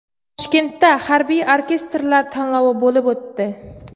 Toshkentda harbiy orkestrlar tanlovi bo‘lib o‘tdi.